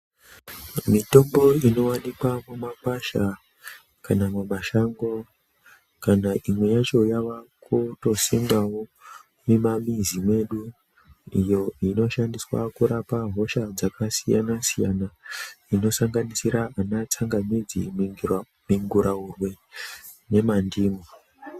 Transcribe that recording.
Mitombo inovanikwa mumakwasha kana mumashango kana imwe yacho yavakutosimwavo mumamizi mwedu. Iyo inoshandiswa kurapa hosha dzakasiyana-siyana, iyo inosanganisira vanatsangamidzi, minguraurwe nemandimu.